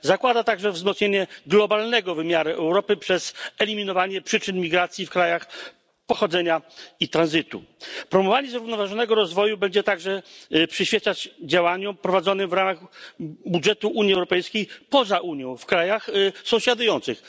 Zakłada także wzmocnienie globalnego wymiaru Europy przez eliminowanie przyczyn migracji w krajach pochodzenia i tranzytu. Promowanie zrównoważonego rozwoju będzie także przyświecać działaniom prowadzonym w ramach budżetu Unii Europejskiej poza Unią, w krajach sąsiadujących.